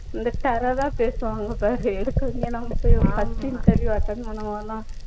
இந்த terror ஆ பேசுவாங்க பாரு எனக்கு first interview attend பண்ணும்போதெல்லாம்